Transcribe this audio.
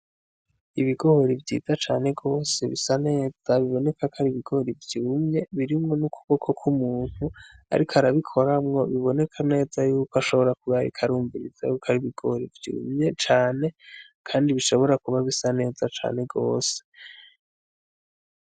Ibigoori vyiza cane rwose bisa neza biboneka ko ari ibigori vyumye birimwo n'ukuboko kw'umuntu, ariko arabikoramwo biboneka neza yuko ashobora kubarikarumva irizaruka ari ibigori vyumye cane, kandi bishobora kuba bisa neza cane rwose.